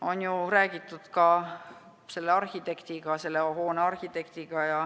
On ju räägitud ka selle hoone arhitektiga.